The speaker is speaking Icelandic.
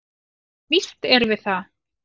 """Jú, víst erum við það."""